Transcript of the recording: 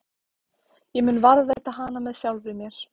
Ég mun varðveita hana með sjálfri mér.